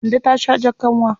Kande ta sha jar kanwa.